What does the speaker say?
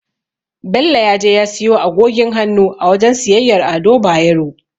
Bello ya je ya siyo agogin hannu a wajen siyayyar Ado Bayero.